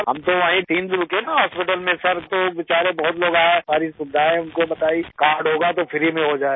हम तो वहीँ तीन दिन रुके न हॉस्पिटल में सिर तो बिचारे बहुत लोग आएं सारी सुविधाएं उनको बताई कार्ड होगा तो फ्री में हो जाएगा